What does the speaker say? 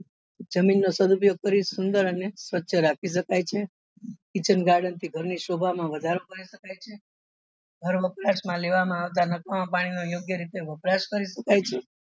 જમીન નો સદુપયોગ કરી સુંદર અને સ્વચ્છ રાખી શકાય છે kitchen garden ઘર ની શોભા માં વધારો કરી શકાય છે ઘર વપરાશ માં લેવા માં આવતા નકામા પાણી નો યોગ્ય રીતે વપરાશ કરી શકાય છે.